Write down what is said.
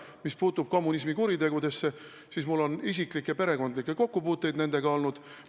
Mis puutub kommunismi kuritegudesse, siis mul on nendega isiklikke perekondlikke kokkupuuteid olnud.